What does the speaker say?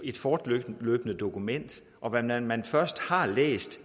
et fortløbende dokument og hvad man man først har læst